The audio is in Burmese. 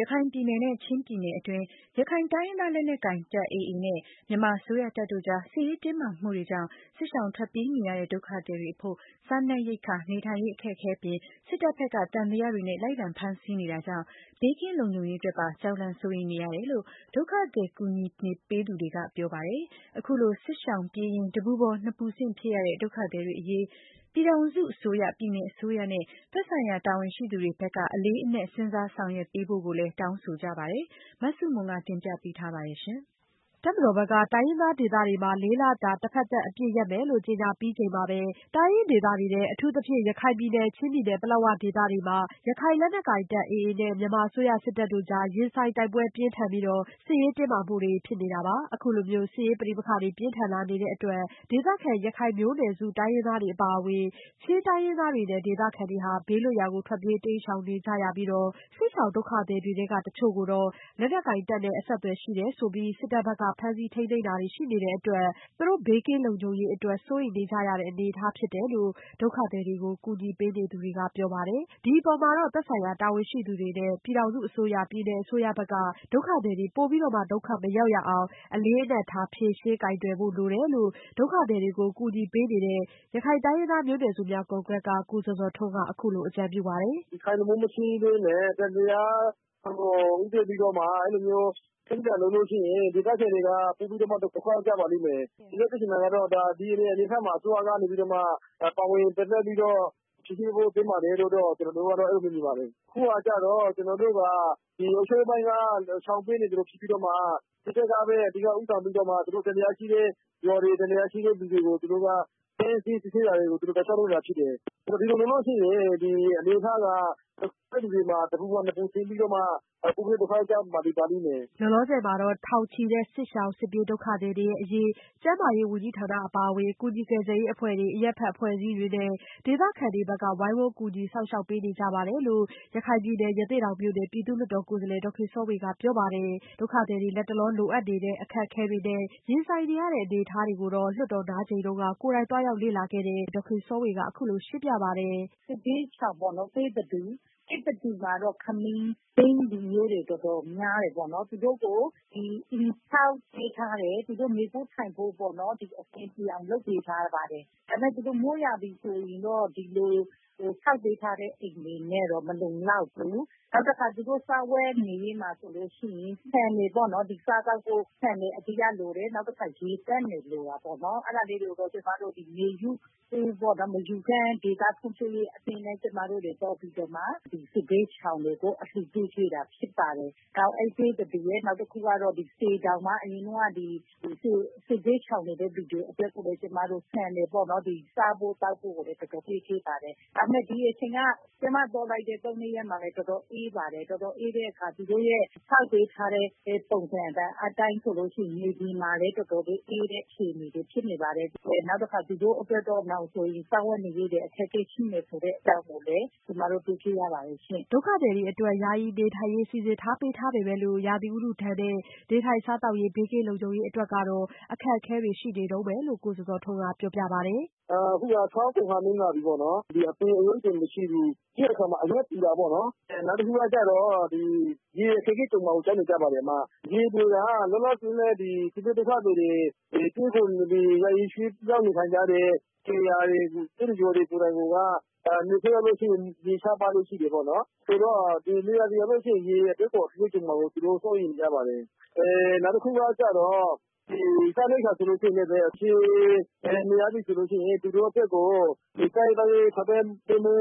ရခိုင်ပြည်နယ်နဲ့ ချင်းပြည်နယ်တွင်း ရခိုင်တိုင်းရင်းသားလက်နက်ကိုင်တပ် AA နဲ့ မြန်မာအစိုးရတပ်တို့ကြား စစ်ရေးတင်းမာမှုတွေကြောင့် စစ်ရှောင်ထွက်ပြေးနေရတဲ့ ဒုက္ခသည်တွေအဖို့ စားနပ်ရိက္ခာ၊ နေထိုင်ရေးအခက်အခဲအပြင် စစ်တပ်ဘက်က သံသယတွေနဲ့ လိုက်လံဖမ်းဆီးနေတာကြောင့် ဘေးကင်းလုံခြုံရေးအတွက်ပါ ကြောက်လန့် စိုးရိမ်နေကြရတယ်လို့ ဒုက္ခသည်ကူညီပေးနေသူတွေက ပြောပါတယ်။ အခုလို စစ်ရှောင်ပြေးရင်း တပူပေါ်နှစ်ပူဆင့်ဖြစ်နေကြရတဲ့ ဒုက္ခသည်တွေအရေး ပြည်ထောင်စုအစိုးရ၊ ပြည်နယ်အစိုးရနဲ့ သက်ဆိုင်ရာတာဝန်ရှိသူတွေဘက်က အလေးအနက် စဉ်းစားဆောင်ရွက်ပေးဖို့ကိုလည်း တောင်းဆိုကြပါတယ်။ မဆုမွန် တင်ပြပေးထားပါတယ်။ တပ်မတော်ဘက်က တိုင်းရင်းသားဒေသတွေမှာ လေးလတာ တဘက်သတ်အပစ်ရမယ်လို့ ကြေညာပြီးချိန်မှာပဲ တိုင်းရင်းဒေသတွေထဲ အထူးသဖြင့် ရခိုင်ပြည်နယ်နဲ့ ချင်းပြည်နယ် ပလက်ဝဒေသတွေမှာ ရခိုင်လက်နက်ကိုင်တပ် AA နဲ့ မြန်မာအစိုးရစစ်တပ်တို့ကြား ရင်ဆိုင်တိုက်ပွဲပြင်းထန်ပြီး စစ်ရေးတင်းမာမှုတွေဖြစ်ခဲ့တာပါ။ အခုလိုမျိုး စစ်ရေးပဋိပက္ခတွေ ပြင်းထန်လာတဲ့အတွက် ဒေသခံ ရခိုင်မျိုးနွယ်စု တိုင်းရင်းသားတွေအပါအဝင် ချင်းတိုင်းရင်းသားတွေနဲ့ ဒေသခံတွေ ဘေးလွတ်ရာကို ထွက်ပြေးတိမ်းရှောင်နေကြရပြီးတော့ စစ်ရှောင် ဒုက္ခသည်တွေထဲက တချို့ကို လက်နက်ကိုင်တပ်နဲ့အဆက်အသွယ်ရှိတယ်ဆိုပြီး စစ်တပ်ဘက်က ဖမ်းဆီးထိန်းသိမ်းတာတွေရှိနေတဲ့အတွက် သူတို့ဘေးကင်းလုံခြုံရေးအတွက် စိုးရိမ်နေကြရတဲ့အနေအထားဖြစ်တယ်လို့ ဒုက္ခသည်တွေကို ကူညီပေးနေသူတွေကပြောပါတယ်။ ဒီအပေါ်မှာတော့ သက်ဆိုင်ရာတာဝန်ရှိသူတွေနဲ့ ပြည်ထောင်စုအစိုးရ၊ ပြည်နယ်အစိုးရဘက်က ဒုက္ခသည်တွေ ပိုပြီး ဒုက္ခမရောက်ရအောင် အလေးအနက်ထား ဖြေရှင်းကိုင်တွယ်ဖို့လိုတယ်လို့ ဒုက္ခသည်တွေကို ကူညီပေးနေတဲ့ ရခိုင်တိုင်းရင်းသားမျိုးနွယ်များ အစည်းအရုံးက ကိုဇော်ဇော်ထွန်းက အခုလိုအကြံပြုပါတယ်။ "ဒီရခိုင်အရေးကို မဖြေရှင်းပဲနဲ့ အဲလိုမျိုးပြင်းအထန်လုပ်ရင် ဒေသခံတွေက ပိုပြီးတော့မှ ဒုက္ခရောက်ကြပါလိမ့်မယ်။ ဦးလေးပြောချင်တာကတော့ ဒီအနေအထားမှာ အစိုးရကနေပြီးတော့ ပါဝင်ပြီးတော့ ဖြေရှင်းပေးဖို့သင့်တယ်လို့ ကျနော်တို့ အဲလိုမျိုးမြင်ပါတယ်။ အခုကျတော့ ကျနော်တို့က ဒီအုပ်ချုပ်ရေးပိုင်းက ရှောင်နေသလိုဖြစ်ပြီးတော့မှ စစ်တပ်ကပဲ ဦးဆောင်ပြီးတော့ သူတို့ သံသယရှိတဲ့လူတွေ၊ ရွာတွေကို ဖမ်းဆီးစစ်ဆေးနေတာတွေကို လုပ်နေတာတွေဖြစ်တယ်။ ဒီလိုဆိုရင် အနေအထားက တဖက်လူတွေပေါ်မှာ တဘူပေါ် နှစ်ဘူတင်နေပါလိမ့်မယ်။" လောလောဆယ်မှာတော့ ထောင်ချီတဲ့ စစ်ပြေးစစ်ရှောင်ဒုက္ခသည်တွေအရေး ကျန်းမာရေးဝန်ကြီးဌာနအပါအဝင် ကူညီကယ်ဆယ်ရေးအဖွဲ့တွေ၊ အရပ်ဖက်အဖွဲ့အစည်းတွေနဲ့ ဒေသခံတွေဘက်က ဝိုင်းဝန်းကူညီစောင့်ရှောက်ပေးနေကြတယ်လို့ ရခိုင်ပြည်နယ် ရသေ့တောင်မြို့နယ် ပြည်သူ့လွှတ်တော်ကိုယ်စားလှယ် ဒေါ်ခင်စောဝေကပြောပါတယ်။ ဒုက္ခသည်တွေ လတ်တလောလိုအပ်နေတဲ့ အခက်ခဲတွေနဲ့ ရင်ဆိုင်နေရတဲ့အနေအထားတွေကိုလည်း လွှတ်တော်နားချိန်တုန်းက ကိုယ်တိုင်သွားရောက်လေ့လာခဲ့တဲ့ လွှတ်တော်ကိုယ်စားလှယ်ဒေါ်ခင်စောဝေက အခုလိုရှင်းပြပါတယ်။ "စစ်ဘေးရှောင်တွေပေါ့နော် သစ်တတူမှာတော့ ခမီးလူမျိုးတွေ တော်တော်များတယ်။ သူတို့ကို အိမ်ဆောက်ပေးထားတယ်၊ သူတို့ နေဖို့ထိုင်ဖို့ကို အဆင်ပြေအောင်လုပ်ပေးထားတယ်။ ဒါပေမယ့် သူတို့ မိုးရာသီဆိုရင်တော့ ဒီလိုဆောက်ပေးထားတဲ့ အိမ်တွေနဲ့တော့မလုံလောက်ဘူး။ နောက်တခါ သူတို့ စားဝတ်နေရေးမှာဆိုရင် ဆန်တွေပေ့ါနော် သူတို့ စားသောက်ဖို့ ဆန်တွေအဓိကလိုတယ်။ နောက်တခါ ရေသန့်တွေ လိုတာပေါ့နော်။ အဲဒါကိုတော့ ကျမတို့ မေယူဖွံ့ဖြိုးဒေသရေးအသင်းနဲ့ ပူးပေါင်းပြီးတော့ စစ်ဘေးရှောင်တွေကို အလှူပေးတာပေါ့နော်။ နောက်တခုကတော့ စေတောင်မှာ အရင်တုန်းကတော့ စစ်ဘေးရှောင်နေတဲ့လူတွေအတွက်ကို ကျမတို့ ဆန်တွေပေါ့နော် စားဖို့သောက်ဖို့ကို ကျမတို့ပေးပါတယ် ဆိုတော့ ဒီအချိန်က ကျမသွားတဲ့ ၃-၄ ရက်မှာလည်း တော်တော်အေးပါတယ်။ တော်တော်အေးတဲ့အခါသူတို့ရဲ့ ဆောက်ပေးထားတဲ့ ပုံစံအတိုင်းဆိုရင် မြေက တော်တော်လေးအေးတဲ့အခြေအနေဖြစ်နေပါတယ်။ နောက်ပြီးတော့ သူတို့အတွက်နောင်ဆိုရင် စားဝတ်နေရေးတွေ အခက်အခဲရှိမယ်ဆိုတဲ့အကြောင်း ကျမတို့ တွေ့ခဲ့ရပါတယ်။" ဒုက္ခသည်တွေအတွက် ယာယီနေထိုင်ရေးစီစဉ်ပေးထားပေမဲ့လို့ ရာသီဥတုဒဏ်နဲ့ နေထိုင်စားသောက်ရေးနဲ့ဘေးကင်းလုံခြုံရေးအတွက်တော့ အခက်ခဲတွေရှိနေတုန်းပဲလို့ ကိုဇော်ဇော်ထွန်းကပြောပြပါတယ်။ " အခုက ဆောင်းကုန်ခါနီးလာပြီပေါ့နော်။ ဒီအပင်အရိပ်တွေမရှိဘူး။ပြီးတဲ့အခါမှာ အရွက်ပူတာပေါ့နော်။ နောက်တခုကတော့ ရေအခက်အခဲကြုံမှာကို ကြောက်နေကြပါတယ်။ ရေလိုတာက လောလောဆည် စစ်ဘေးဒုက္ခသည်တွေ ယာယီရွှေ့ပြောင်းနေထိုင်ကြတဲ့ နေရာကိုက နွေရာသီရောက်ရင် ရေရှားပါးလေ့ရှိတယ်ပေါ့နော်။ ဆိုတော့ နွေရာသီရောက်ရင် ရေအခက်အခဲကြုံမှာကို သူတို့ စိုးရိမ်နေပါတယ်။ နောက်တခုကတော့ စားနပ်ရိပ်က္ခာဆိုရင်လည်း နေမြေအနေအထားအရ အခက်အခဲကြုံမှာကို စိုးရိမ်နေပါတယ်။"